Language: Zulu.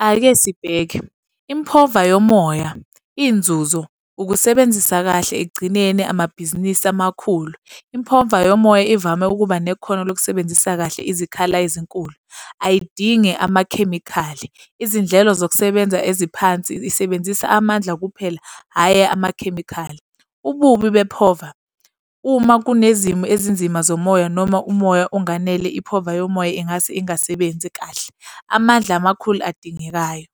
Ake sibheke. impova yomoya, iy'nzuzo. Ukusebenzisa kahle ekugcineni amabhizinisi amakhulu. Impova yomoya ivame ukuba nekhono lokusebenzisa kahle izikhala ezinkulu, ayidingi amakhemikhali, izindlelo zokusebenza eziphansi isebenzisa amandla kuphela, hhayi amakhemikhali. Ububi bempova. Uma kunezimo ezinzima zomoya noma umoya unganele impova yomoya ingase ingasebenzi kahle. Amandla amakhulu adingekayo.